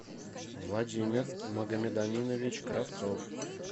владимир магомедаминович кравцов